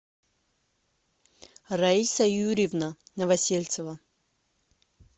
раиса юрьевна новосельцева